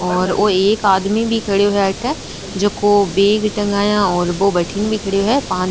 और एक आदमी भी खड़े है आते जेको बेग टँगाया और बो बातिने भी खड़ो है।